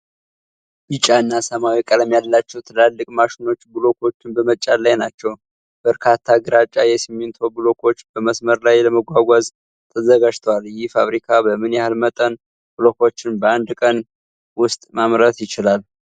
ቢጫ እና ሰማያዊ ቀለም ያላቸው ትላልቅ ማሽኖች ብሎኮቹን በመጫን ላይ ናቸው። በርካታ ግራጫ የሲሚንቶ ብሎኮች በመስመር ላይ ለመጓጓዝ ተዘጋጅተዋል። ይህ ፋብሪካ በምን ያህል መጠን ብሎኮችን በአንድ ቀን ውስጥ ማምረት ይችላል?